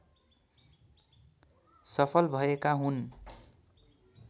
सफल भएका हुन्